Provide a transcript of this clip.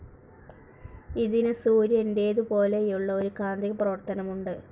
ഇതിന് സൂര്യൻ്റേതുപോലെയുള്ള ഒരു കാന്തിക പ്രവർത്തനമുണ്ട്.